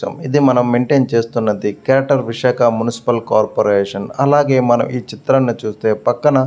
ఇది మనం మెన్టైన్ చేస్తున్నది గ్రేటర్ విశాఖ మున్సిపల్ కార్పరేషన్ అలాగే మనం ఈ చిత్రాన్ని చూస్తే పక్కన --